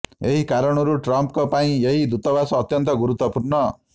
ଏହି କାରଣରୁ ଟ୍ରମ୍ପଙ୍କ ପାଇଁ ଏହି ଦୂତାବାସ ଅତ୍ୟନ୍ତ ଗୁରୁତ୍ୱପୂର୍ଣ୍ଣ